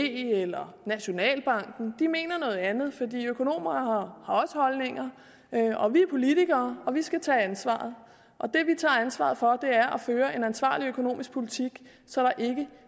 eller nationalbanken de mener noget andet for økonomer har også holdninger vi er politikere og vi skal tage ansvaret og det vi tager ansvaret for er at føre en ansvarlig økonomisk politik så der ikke